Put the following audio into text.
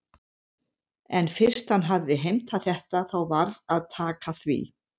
En fyrst hann hafði heimtað þetta þá varð að taka því.